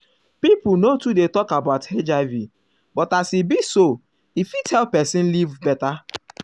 people no too dey talk about hiv but as e be so e fit help person live better.